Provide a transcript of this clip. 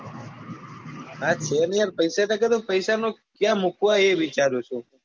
હા છે ને યાર પૈસા ટકે તો પૈસા તો ક્યાં મુકવા એ વિચારું છું.